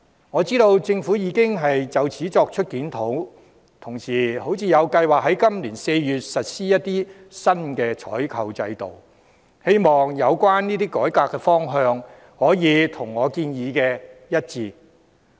我知道政府已就此作出檢討，同時亦有計劃在今年4月實施新採購制度，希望有關改革方向可以跟我的建議一致。